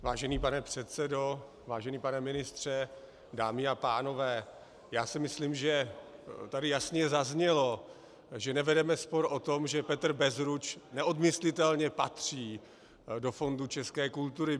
Vážený pane předsedo, vážený pane ministře, dámy a pánové, já si myslím, že tady jasně zaznělo, že nevedeme spor o tom, že Petr Bezruč neodmyslitelně patří do fondu české kultury.